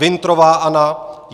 Wintrová Anna